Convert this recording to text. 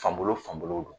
Fan bolo fan bolo don